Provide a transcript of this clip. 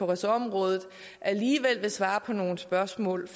ressortområde alligevel vil svare på nogle spørgsmål